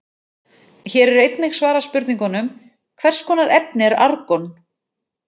Hér er einnig svarað spurningunum: Hvers konar efni er argon?